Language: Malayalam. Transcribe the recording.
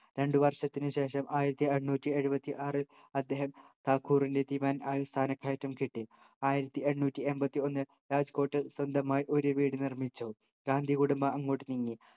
രണ്ടു വർഷത്തിനു ശേഷം ആയിരത്തി എണ്ണൂറ്റി എഴുപത്തി ആറിൽ ഠാക്കുറിൻ്റെ ദിവാനായി സ്ഥാനക്കയറ്റം കിട്ടി ആയിരത്തി എണ്ണൂറ്റി എൺപത്തിയൊന്നിൽ രാജ്കോട്ടിൽ സ്വന്തമായി ഒരു വീട് നിർമ്മിച്ചു ഗാന്ധി കുടുംബം അങ്ങോട്ട് നീങ്ങി